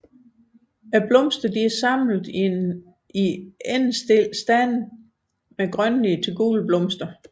Blomsterne er samlet i endestillede stande med grønlige til gule blomster